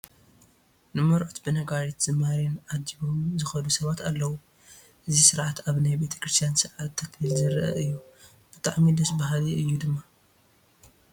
ንመርዑት ብነጋሪትን ዝማሬን ኣጂቦም ዝኸዱ ሰባት ኣለዉ፡፡ እዚ ስርዓት ኣብ ናይ ቤተ ክርስቲያን ስርዓተ ተክሊል ዝርአ እዩ፡፡ ብጣዕሚ ደስ በሃሊ እዩ ድማ፡፡